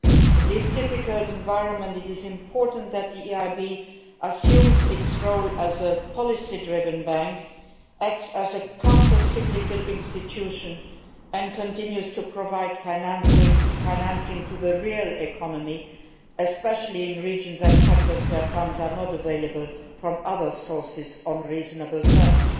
In this difficult environment it is important that the EIB assumes its role as a policy driven bank, acts as a countercyclical institution and continues to provide financing to the real economy, especially in regions and sectors where funds are not available from other sources on reasonable terms.